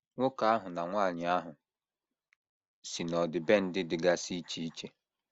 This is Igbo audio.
Nwoke ahụ na nwanyị ahụ si n’ọdịbendị dịgasị iche iche.